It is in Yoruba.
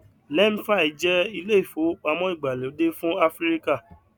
lemfi jẹ ilé ìfowópamọ ìgbàlódé fún áfíríkà